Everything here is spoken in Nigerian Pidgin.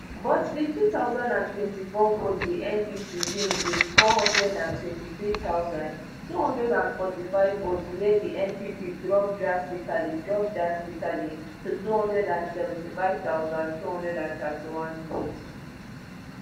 but di two thousand and twenty-four vote di ndc win wit four hundred and twenty-three thousand, two hundred and forty-five votes wia di npp drop drastically drop drastically to two hundred and seventy-five thousand, two hundred and thirty-one votes